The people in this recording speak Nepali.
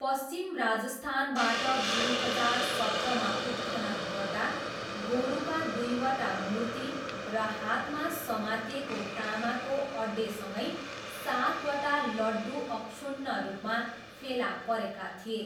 पश्चिम राजस्थानबाट दुई हजार सत्रमा उत्खनन गर्दा गोरुका दुईवटा मूर्ति र हातमा समातिएको तामाको अड्डेसँगै सातवटा लड्डु अक्षुण्ण रूपमा फेला परेका थिए।